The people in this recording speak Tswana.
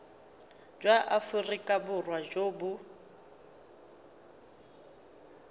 jwa aforika borwa jo bo